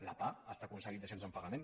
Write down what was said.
la pah està aconseguint dacions en pagament